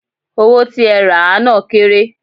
Owó tí ẹ rà á náà kéré.